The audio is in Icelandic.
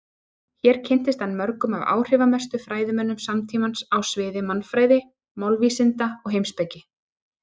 Hér kynntist hann mörgum af áhrifamestu fræðimönnum samtímans á sviði mannfræði, málvísinda og heimspeki.